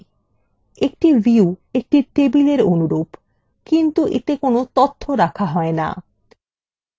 একটি view একটা tableএর অনুরূপ কিন্তু এতে তথ্য রাখা হয় না